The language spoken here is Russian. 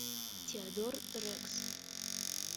теодор рекс